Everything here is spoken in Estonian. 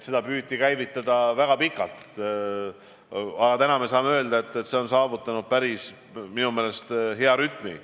Seda püüti käivitada väga pikalt, aga nüüd saame öelda, et selle töö on minu meelest saavutanud päris hea rütmi.